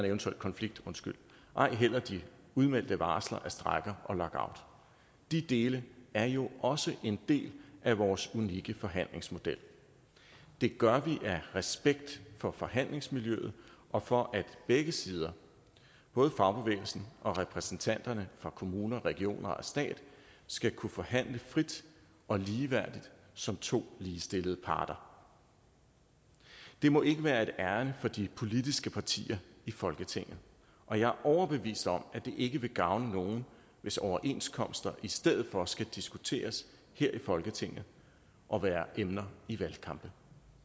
eventuel konflikt ej heller de udmeldte varsler af strejker og lockout de dele er jo også en del af vores unikke forhandlingsmodel det gør vi af respekt for forhandlingsmiljøet og for at begge sider både fagbevægelsen og repræsentanterne for kommuner regioner og stat skal kunne forhandle frit og ligeværdigt som to ligestillede parter det må ikke være et ærinde for de politiske partier i folketinget og jeg er overbevist om at det ikke vil gavne nogen hvis overenskomster i stedet for skal diskuteres her i folketinget og være emner i valgkampen